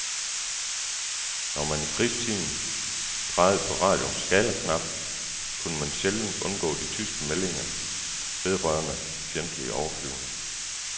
Når man i krigstiden drejede på radioens skalaknap, kunne man sjældent undgå de tyske meldinger vedrørende fjendtlige overflyvninger.